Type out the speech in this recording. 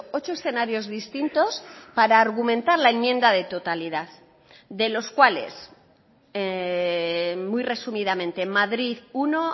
ocho escenarios distintos para argumentar la enmienda de totalidad de los cuales muy resumidamente madrid uno